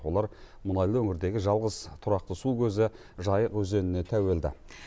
олар мұнайлы өңірдегі жалғыз тұрақты су көзі жайық өзеніне тәуелді